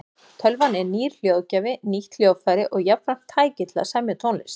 Tölvan er nýr hljóðgjafi, nýtt hljóðfæri og jafnframt tæki til að semja tónlist.